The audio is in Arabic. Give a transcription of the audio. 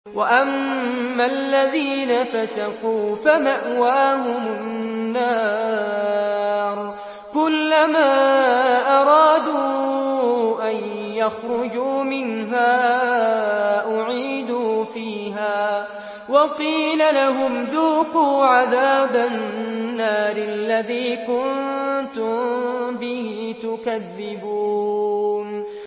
وَأَمَّا الَّذِينَ فَسَقُوا فَمَأْوَاهُمُ النَّارُ ۖ كُلَّمَا أَرَادُوا أَن يَخْرُجُوا مِنْهَا أُعِيدُوا فِيهَا وَقِيلَ لَهُمْ ذُوقُوا عَذَابَ النَّارِ الَّذِي كُنتُم بِهِ تُكَذِّبُونَ